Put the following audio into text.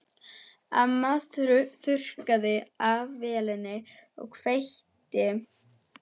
Amma þurrkaði af vélinni og kveikti.